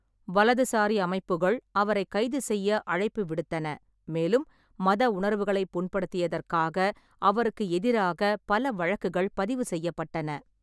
வலதுசாரி அமைப்புகள் அவரைக் கைது செய்ய அழைப்பு விடுத்தன, மேலும் மத உணர்வுகளை புண்படுத்தியதற்காக அவருக்கு எதிராக பல வழக்குகள் பதிவு செய்யப்பட்டன.